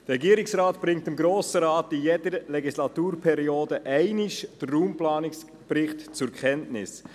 Der Regierungsrat unterbreitet dem Grossen Rat in jeder Legislaturperiode einmal den Raumplanungsbericht zur Kenntnis.